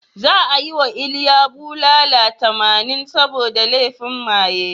Za a yi wa Iliya bulala tamanin saboda laifin maye.